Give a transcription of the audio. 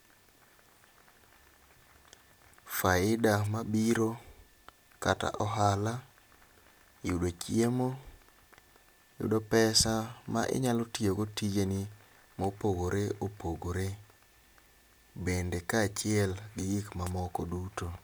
Faida mabiro kata ohala yudo chiemo, yudo pesa ma inyalo tiyo go tijeni mopogore opogore bende, kaachiel gi gik mamoko duto.